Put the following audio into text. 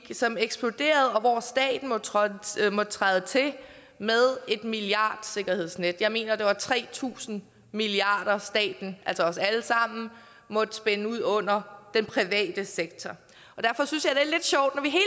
som eksploderede og hvor staten måtte træde træde til med et milliardsikkerhedsnet jeg mener det var tre tusind milliard kr som staten altså os alle sammen måtte spænde ud under den private sektor og derfor synes at